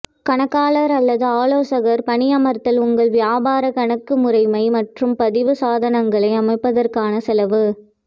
கணக்காளர் அல்லது ஆலோசகர் பணியமர்த்தல் உங்கள் வியாபார கணக்கு முறைமை மற்றும் பதிவு சாதனங்களை அமைப்பதற்கான செலவு